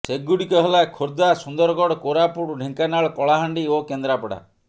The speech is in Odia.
ସେଗୁଡିକ ହେଲା ଖୋର୍ଦ୍ଧା ସୁନ୍ଦରଗଡ଼ କୋରାପୁଟ ଢେଙ୍କାନାଳ କଳାହାଣ୍ଡି ଓ କେନ୍ଦ୍ରାପଡ଼ା